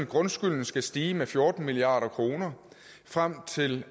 grundskylden skal stige med fjorten milliard kroner frem til